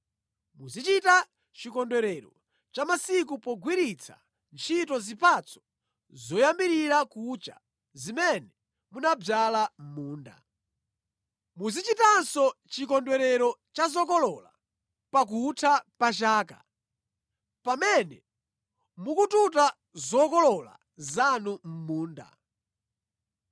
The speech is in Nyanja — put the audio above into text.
“Muzichita Chikondwerero cha Masika pogwiritsa ntchito zipatso zoyambirira kucha zimene munadzala mʼmunda. “Muzichitanso Chikondwerero cha Zokolola pakutha pa chaka, pamene mukututa zokolola zanu mʼmunda.